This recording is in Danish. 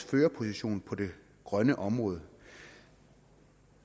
førerposition på det grønne område